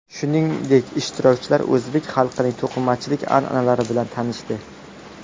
Shuningdek, ishtirokchilar o‘zbek xalqining to‘qimachilik an’analari bilan tanishdi.